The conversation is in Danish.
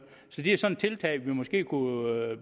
så det er sådan et tiltag vi måske kunne